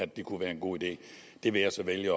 det kunne være en god idé det vil jeg så vælge